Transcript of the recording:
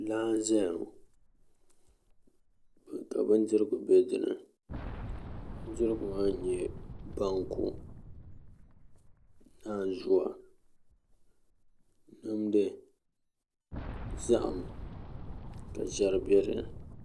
Laa n-zaya ŋɔ ka bindirigu be di ni bindirigu maa n-nyɛ banku nanzua nimdi zahim ka ʒiɛri be di ni